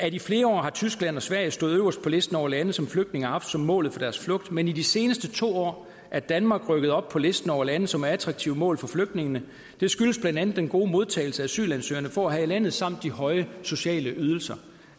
i flere år har tyskland og sverige stået øverst på listen over lande som flygtninge har haft som målet for deres flugt men i de seneste to år er danmark rykket op på listen over lande som er attraktive mål for flygtningene det skyldes blandt andet den gode modtagelse asylansøgere får her i landet samt de høje sociale ydelser